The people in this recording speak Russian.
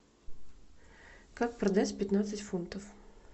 как продать пятнадцать фунтов